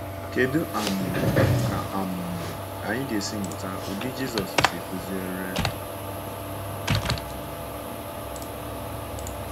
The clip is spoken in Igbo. Kedu um ka um anyị ga-esi mụta ụdị Jisọs si kụziere?